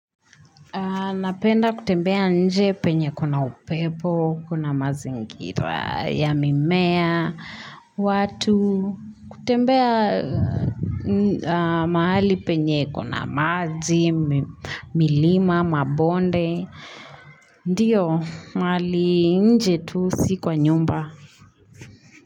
Napenda kutembea nje penye kuna upepo, kuna mazingira, ya mimea, watu, kutembea mahali penye kuna maji, milima, mabonde. Ndio, mahali nje tu si kwa nyumba.